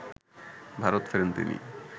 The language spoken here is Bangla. ভারত ফেরেন তিনি